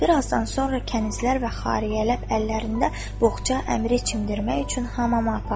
Bir azdan sonra kənizlər və xariyyələb əllərində boğca əmiri çimdirmək üçün hamama apardılar.